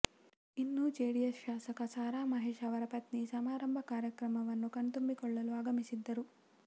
ಇನ್ನು ಜೆಡಿಎಸ್ ಶಾಸಕ ಸಾ ರಾ ಮಹೇಶ್ ಅವರ ಪತ್ನಿ ಸಮಾರಂಭ ಕಾರ್ಯಕ್ರಮವನ್ನು ಕಣ್ತುಂಬಿಕೊಳ್ಳಲು ಆಗಮಿಸಿದ್ದರು